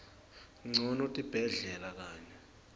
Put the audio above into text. ncono tibhedlela kanye